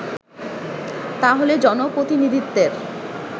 তাহলে জনপ্রতিনিধিত্বের